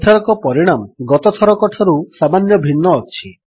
ଏଥରକ ପରିଣାମ ଗତଥରକଠାରୁ ସାମାନ୍ୟ ଭିନ୍ନ ଅଛି